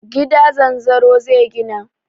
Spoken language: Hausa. Gida zanzaro zai gina.